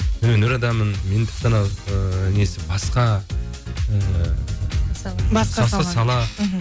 өнер адамымын мен тіпті анау ыыы несі басқа ы басқа сала мхм